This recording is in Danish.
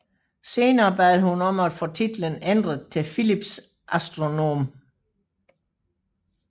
Senere bad hun om at få titlen ændret til Phillips Astronom